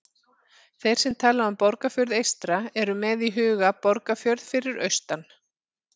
Þeir sem tala um Borgarfjörð eystra eru með í huga Borgarfjörð fyrir austan.